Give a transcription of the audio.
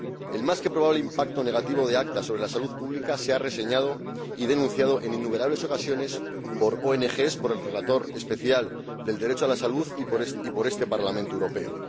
El más que probable impacto negativo del ACTA sobre la salud pública ha sido reseñado y denunciado en innumerables ocasiones por ONG, por el Relator Especial del Derecho a la Salud y por este Parlamento Europeo.